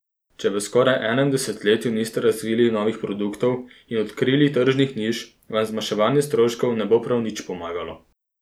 Če v skoraj enem desetletju niste razvili novih produktov in odkrili tržnih niš, vam zmanjševanje stroškov ne bo prav nič pomagalo.